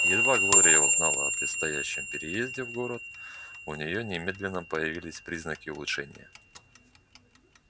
едва глория узнала о предстоящем переезде в город у нее немедленно появились признаки улучшения